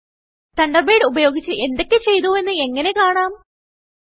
Thunderbird ഉപയോഗിച്ച് എന്തൊക്കെ ചെയ്തുവെന്ന് എങ്ങനെ കാണാം160